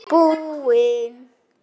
Þannig sneri ég á þá.